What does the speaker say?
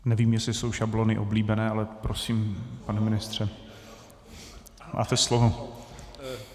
Nevím, jestli jsou šablony oblíbené, ale prosím, pane ministře, máte slovo.